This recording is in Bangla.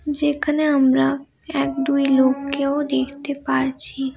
যেখানে আমরা এক দুই লোক কেও দেখতে পারছি।